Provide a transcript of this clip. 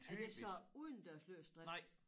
Er det så udendørs løs drift?